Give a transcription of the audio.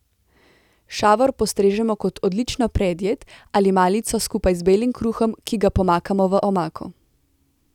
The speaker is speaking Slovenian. Šavor postrežemo kot odlično predjed ali malico skupaj z belim kruhom, ki ga pomakamo v omako.